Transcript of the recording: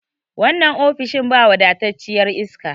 wannan ofis ɗin ba wafatacciyar iska